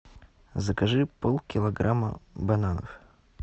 закажи пол килограмма бананов